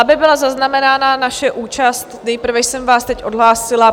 Aby byla zaznamenána naše účast, nejprve jsem vás teď odhlásila.